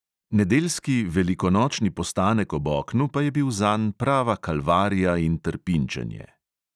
Nedeljski velikonočni postanek ob oknu pa je bil zanj prava kalvarija in trpinčenje.